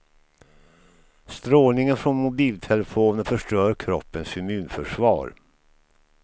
Strålningen från mobiltelefoner förstör kroppens immunförsvar.